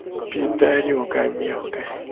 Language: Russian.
пидорюга мелкая